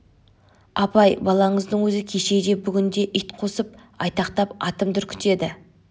апай балаңыздың өзі кеше де бүгін де ит қосып айтақтап атымды үркітеді